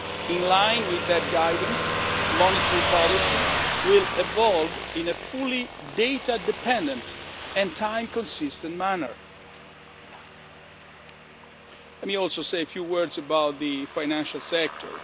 In line with that guidance, monetary policy will evolve in a fully data dependent and time consistent manner. Let me also say a few words about the financial sector.